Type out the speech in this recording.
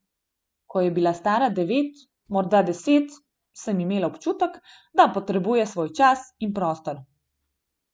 Ko je bila stara devet, morda deset, sem imela občutek, da potrebuje svoj čas in prostor.